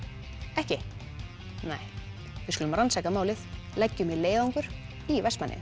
ekki nei við skulum rannsaka málið leggjum í leiðangur í Vestmannaeyjum